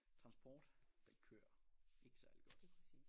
Transport den kører ikke særlig godt